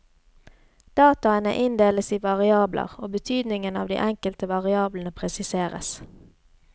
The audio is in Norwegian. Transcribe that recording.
Dataene inndeles i variabler, og betydningen av de enkelte variablene presiseres.